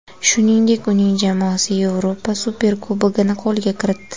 Shuningdek, uning jamoasi Yevropa Superkubogini qo‘lga kiritdi.